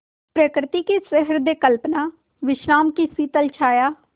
प्रकृति की सहृदय कल्पना विश्राम की शीतल छाया